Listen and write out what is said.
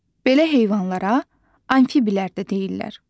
Belə heyvanlara amfiblər də deyirlər.